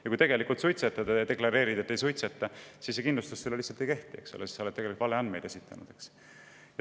Kui ta tegelikult suitsetab ja deklareerib, et ei suitseta, siis kindlustus lihtsalt ei kehti, sest ta on esitanud valeandmeid.